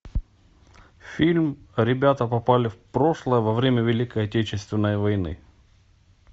фильм ребята попали в прошлое во время великой отечественной войны